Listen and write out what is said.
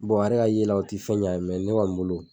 a yɛrɛ ka ye la o ti fɛn ɲ'a ye ne kɔni bolo